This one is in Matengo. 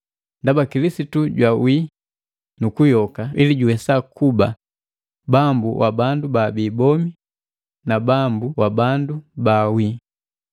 Ndaba Kilisitu jwawii, nukuyoka ili juwesakuba Bambu wa bandu baabi bomi na bandu baawii.